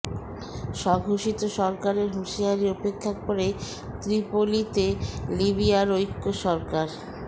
স্বঘোষিত সরকারের হুঁশিয়ারি উপেক্ষা করেই ত্রিপোলিতে লিবিয়ার ঐক্য সরকার